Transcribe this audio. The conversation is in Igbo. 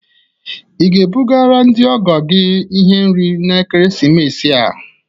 Ị ga-ebugara ndị ọgọ gị ihe nri na ekeresimesi a?